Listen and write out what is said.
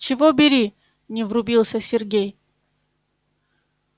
чего бери не врубился сергей